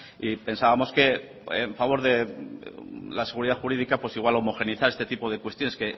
y pensábamos que a favor de la seguridad jurídica pues igual homogeneizar este tipo de cuestiones